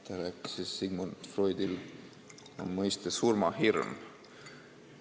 Ta rääkis, et Sigmund Freudil on mõiste "surmahirm".